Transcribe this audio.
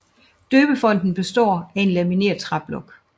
Døbefonten består af en lamineret træblok